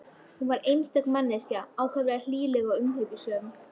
Hún var einstök manneskja, ákaflega hlýleg og umhyggjusöm.